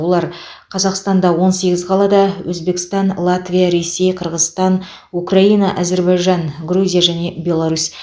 олар қазақстанда он сегіз қалада өзбекстан латвия ресей қырғызстан украина әзербайжан грузия және беларусь